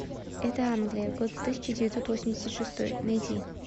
это англия год тысяча девятьсот восемьдесят шестой найди